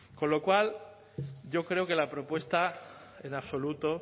con lo cual yo creo que la propuesta en absoluto